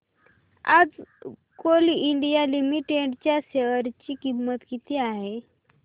आज coal India limited च्या share ची किंमत किती आहे